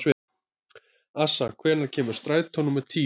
Assa, hvenær kemur strætó númer tíu?